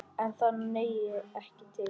En það nægi ekki til.